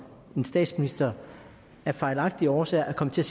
en statsminister af fejlagtige årsager er kommet til